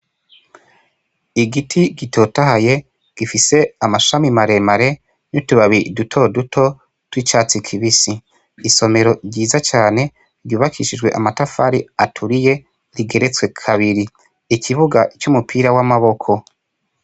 Igiti gitotahaye gifise amashami maremare nitubabi dutoduto twicatsi kibisi isomero ryiza cane ryubakishijwe amatafari aturiye rigeretswe kabiri ikibuga c'umupira w'amaboko.